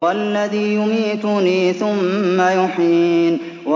وَالَّذِي يُمِيتُنِي ثُمَّ يُحْيِينِ